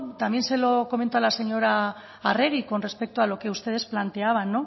también se lo comento a la señora arregi con respecto a lo que ustedes planteaban